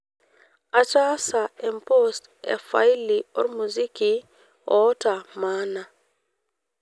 ataasa epost efaili ormuziki ootamaana